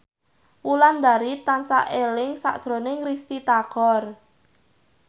Wulandari tansah eling sakjroning Risty Tagor